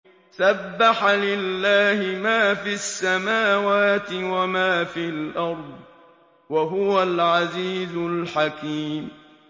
سَبَّحَ لِلَّهِ مَا فِي السَّمَاوَاتِ وَمَا فِي الْأَرْضِ ۖ وَهُوَ الْعَزِيزُ الْحَكِيمُ